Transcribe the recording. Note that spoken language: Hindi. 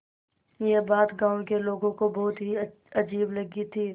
यह बात गाँव के लोगों को बहुत ही अजीब लगी थी